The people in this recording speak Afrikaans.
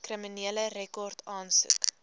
kriminele rekord aansoek